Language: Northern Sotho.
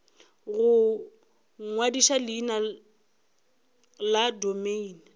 go ngwadiša leina la domeine